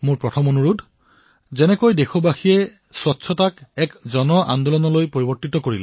মোৰ প্ৰথমটো অনুৰোধ যিদৰে দেশবাসীসকলে স্বচ্ছতাক এক আন্দোলনৰ ৰূপ দিলে